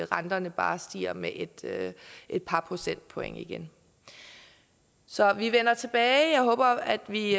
renterne bare stiger med et et par procentpoint igen så vi vender tilbage jeg håber at vi